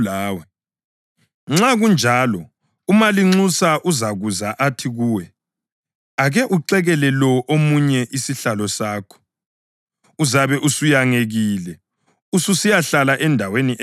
Nxa kunjalo umalinxusa uzakuza athi kuwe, ‘Ake uxekele lo omunye isihlalo sakho.’ Uzabe usuyangekile ususiyahlala endaweni ephansi kakhulu.